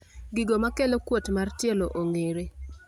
Gino makelo kuot mar tielo okong`ere.